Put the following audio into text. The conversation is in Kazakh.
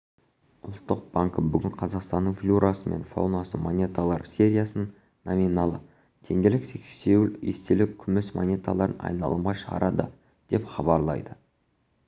ұлттық банкі бүгін қазақстанның флорасы мен фаунасы монеталар сериясынан номиналы теңгелік сексеуіл естелік күміс монеталарын айналымға шығарады деп хабарлайды